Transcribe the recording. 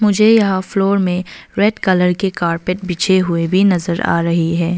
मुझे यहा फ्लोर में रेड कलर के कारपेट बिछे हुए भी नजर आ रहे है।